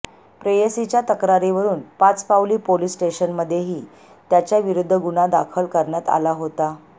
प्रेयसीच्या तक्रारीवरून पाचपावली पोलिस स्टेशनमध्येही त्याच्याविरुद्ध गुन्हा दाखल करण्यात आला होता